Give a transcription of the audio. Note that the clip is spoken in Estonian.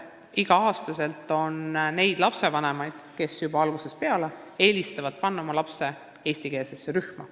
Igal aastal on päris palju neid lapsevanemaid, kes juba algusest peale eelistavad panna oma lapse eestikeelsesse rühma.